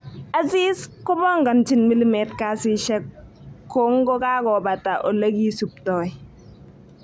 Aziz kipongonchin milimet kasishek kongokakopata olekisuptoi